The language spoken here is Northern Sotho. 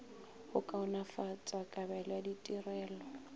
go kaonafatša kabelo ya ditirelo